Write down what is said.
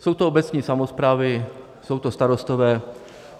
Jsou to obecní samosprávy, jsou to starostové.